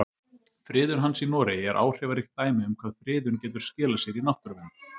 Friðun hans í Noregi er áhrifaríkt dæmi um hvað friðun getur skilað sér í náttúruvernd.